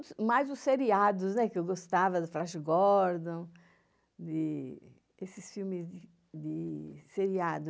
mais dos seriados, que eu gostava, Flash Gordon, esses filmes de seriado.